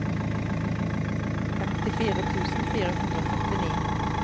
femtifire tusen fire hundre og førtini